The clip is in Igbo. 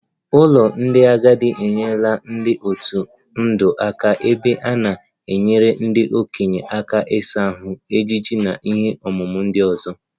Ụlọ ndị agadi enyerela ndị otu ndụ aka ebe a na-enyere ndị okenye aka ịsa ahụ, ejiji na ihe omume ndị ọzọ